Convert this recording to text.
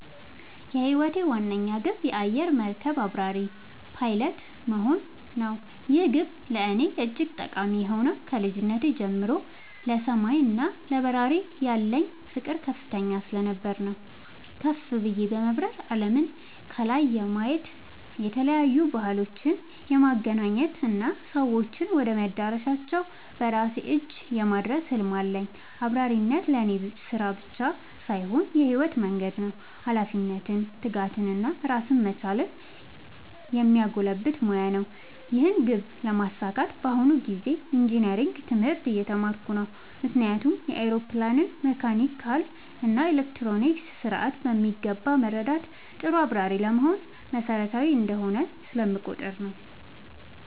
የህይወቴ ዋነኛ ግብ የአየር መርከብ አብራሪ (Pilot) መሆን ነው። ይህ ግብ ለእኔ እጅግ ጠቃሚ የሆነው ከልጅነቴ ጀምሮ ለሰማይ እና ለበረራ ያለኝ ፍቅር ከፍተኛ ስለነበር ነው። ከፍ ብዬ በመብረር አለምን ከላይ የማየት፣ የተለያዩ ባህሎችን የማገናኘት እና ሰዎችን ወደ መዳረሻቸው በራሴ እጅ የማድረስ ህልም አለኝ። አብራሪነት ለእኔ ስራ ብቻ ሳይሆን የህይወት መንገዴ ነው - ኃላፊነትን፣ ትጋትን እና ራስን መቻልን የሚያጎለብት ሙያ ነው። ይህን ግብ ለማሳካት በአሁኑ ጊዜ ኢንጂነሪንግ (Engineering) ትምህርት እየተማርኩ ነው። ምክንያቱም የአውሮፕላንን መካኒካል እና ኤሌክትሮኒክስ ስርዓት በሚገባ መረዳት ጥሩ አብራሪ ለመሆን መሰረታዊ እንደሆነ ስለምቆጠር ነው።